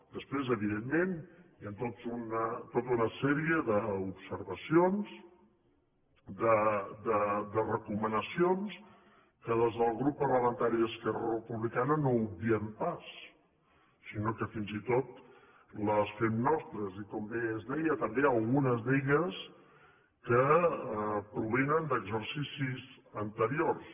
després evidentment hi han tota una sèrie d’observacions de recomanacions que des del grup parlamentari d’esquerra republicana no obviem pas sinó que fins i tot les fem nostres i com bé es deia també algunes d’elles que provenen d’exercicis anteriors